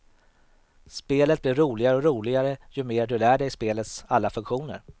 Spelet blir roligare och roligare ju mer du lär dig spelets alla funktioner.